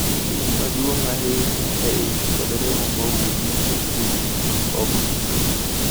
Lim maduong' ahinya e ich kod remo mawuok nikech ich ma ok ng'ich